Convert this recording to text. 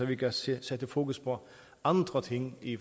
vi kan sætte fokus på andre ting i